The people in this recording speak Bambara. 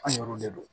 An yɛrɛw de don